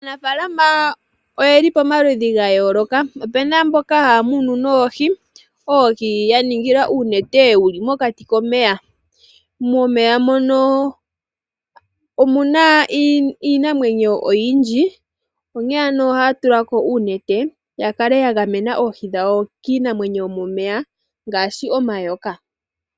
Aanafaalama oyeli pamaludhi ga yooloka. Opuna mboka hya munu noohi, oohi ye dhi ningila uunete wuli mokati komeya. Momeya moka omuna iinamwenyo oyindji, onkene ano ohaa tulako uunete, ya kale ya gamena oohi dhawo kiinamwenyo yomomeya ngaashi omayoka.